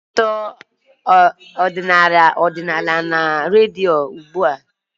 Anyị na-ege akụkọ ọdịnala na redio ugbu a